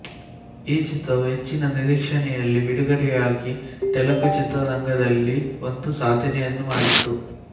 ಈ ಚಿತ್ರವು ಹೆಚ್ಚಿನ ನಿರೀಕ್ಷನೆಯಲ್ಲಿ ಬಿಡುಗಡೆಯಾಗಿ ತೆಲಗು ಚಿತ್ರರಂಗದಲ್ಲಿ ಒಂದು ಸಾಧನೆಯನ್ನು ಮಾಡಿತ್ತು